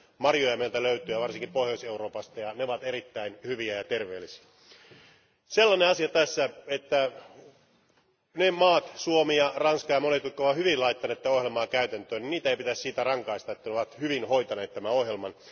Marjoja meiltä löytyy, varsinkin Pohjois Euroopasta, ja ne ovat erittäin hyviä ja terveellisiä. Sellainen asia tässä, että ne maat, Suomi ja Ranska ja monet, jotka ovat hyvin laittaneet tätä ohjelmaa käytäntöön, niin niitä ei pitäisi siitä rangaista että ne ovat hyvin hoitaneet tämän ohjelman.